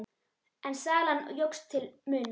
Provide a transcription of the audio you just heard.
En salan jókst til muna.